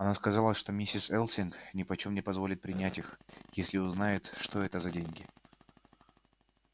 она сказала что миссис элсинг нипочём не позволит принять их если узнает что это за деньги